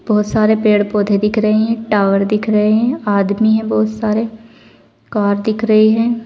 बहुत सारे पेड़ पौधे दिख रहे हैं टावर दिख रहे हैं आदमी हैं बहुत सारे कार दिख रही है।